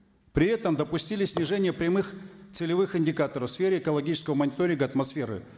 при этом допустили снижение прямых целевых индикаторов в сфере экологического мониторинга атмосферы